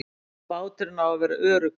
Báturinn á að vera öruggur.